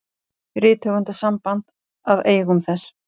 Rithöfundasamband að eigum þess.